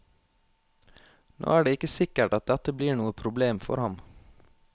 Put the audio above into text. Nå er det ikke sikkert at dette blir noe problem for ham.